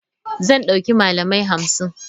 Zan dauki malamai hamsin.